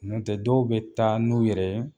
N'o tɛ dɔw bɛ taa n'u yɛrɛ ye.